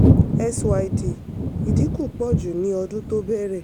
syd: ìdínkù pọ ju ni ọdún tó bẹ̀rẹ̀.